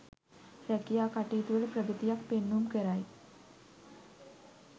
රැකියා කටයුතුවල ප්‍රගතියක් පෙන්නුම් කරයි.